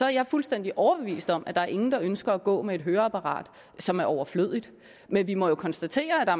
jeg fuldstændig overbevist om at der er ingen der ønsker at gå med et høreapparat som er overflødigt men vi må jo konstatere at